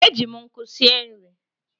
E ji m nkụ sie nri.